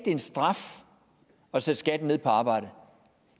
en straf at sætte skatten ned på arbejde